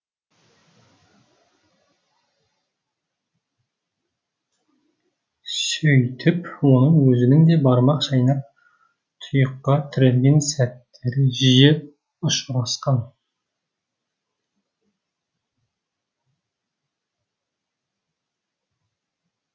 сөйтіп оның өзінің де бармақ шайнап тұйыққа тірелген сәттері жиі ұшырасқан